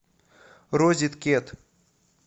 розеткед